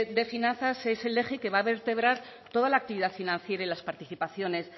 de finanzas es el eje que va a vertebrar toda la actividad financiera y las participaciones